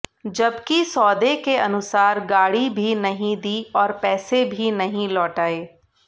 जबकि सौदे के अनुसार गाड़ी भी नहीं दी और पैसे भी नहीं लौटाए